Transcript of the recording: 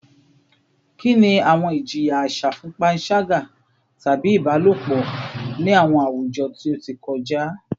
Kini awọn ijiya aṣa fun panṣaga tabi ibalopọ ni awọn awujọ ti o ti kọja?